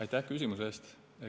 Aitäh küsimuse eest!